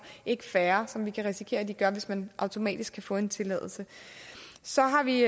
ikke færre som vi risikerer at de gør hvis man automatisk kan få en tilladelse så har vi